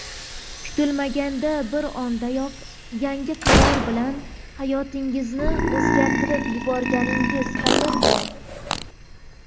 kutilmaganda bir ondayoq yangi qaror bilan hayotingizni o‘zgartirib yuborganingiz qayerda.